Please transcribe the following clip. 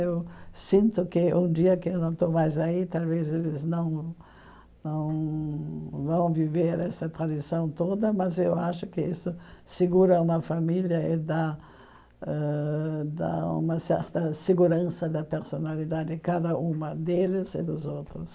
Eu sinto que um dia que eu não estou mais aí, talvez eles não vão vão viver essa tradição toda, mas eu acho que isso segura uma família e dá dá uma certa segurança da personalidade de cada uma deles e dos outros.